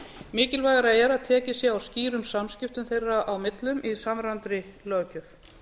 mikilvægara er að tekið sé á skýrum samskiptum þeirra á millum í samræmdri löggjöf